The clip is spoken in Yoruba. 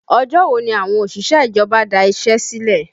Ọjọ́ wo ni àwọn òṣìṣẹ́ ìjọba da iṣẹ́ sílẹ̀?